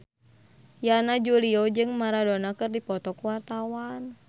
Yana Julio jeung Maradona keur dipoto ku wartawan